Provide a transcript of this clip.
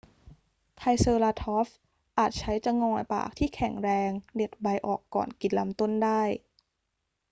ไทรเซอราทอปส์อาจใช้จะงอยปากที่แข็งแรงเด็ดใบออกก่อนกินลำต้นได้